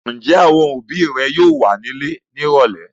Ǹjẹ́ àwọn òbí rẹ yóò wà nílé ní ìrọ́lẹ́?